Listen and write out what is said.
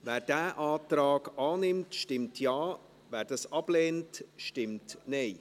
Wer diesen Antrag annimmt, stimmt Ja, wer dies ablehnt, stimmt Nein.